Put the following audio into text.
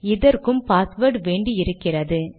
இதற்கும் பாஸ்வேர்ட் வேண்டி இருக்கிறது